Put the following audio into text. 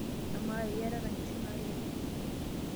Amaa, iyatata nkishu naalepi?